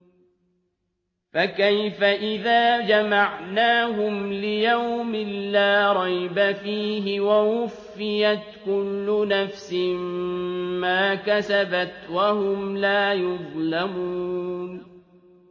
فَكَيْفَ إِذَا جَمَعْنَاهُمْ لِيَوْمٍ لَّا رَيْبَ فِيهِ وَوُفِّيَتْ كُلُّ نَفْسٍ مَّا كَسَبَتْ وَهُمْ لَا يُظْلَمُونَ